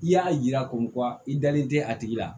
I y'a yira ko wa i dalen tɛ a tigi la